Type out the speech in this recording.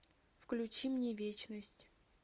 включи мне вечность